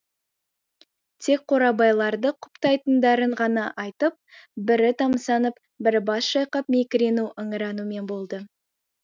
тек қорабайларды құптайтындарын ғана айтып бірі тамсанып бірі бас шайқап мекірену ыңыранумен болды